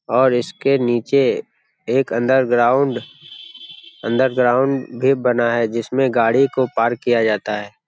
और इसके नीचे एक अंडर ग्राउंड अंडर ग्राउंड भी बना है जिसमे गाड़ी को पार्क किया जाता है ।